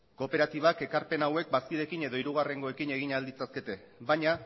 kooperatibak ekarpen hauek bazkideekin edo hirugarrengoekin egin ahal ditzakete baina